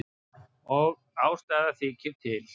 Og ástæða þykir til.